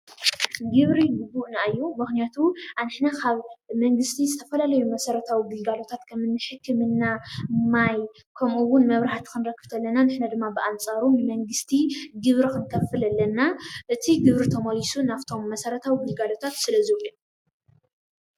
ግብሪ ግቡእና እዩ፡፡ ምኽንያቱ ንሕና ካብ መንግስቲ ዝተፈላለዩ መሰረታዊ ግልጋሎታት-ከም ሕክምና፣ ማይ ከምኡውን መብራህቲ ክንረክብ እንተለና ንሕና እውን ብኣንፃሩ ንመንግስቲ ግብሪ ክንኸፍል ኣለና፡፡ እቲ ግብሪ ተመሊሱ ናብቶም መሰረታዊ ግልጋሎታት ስለዝውዕል፡፡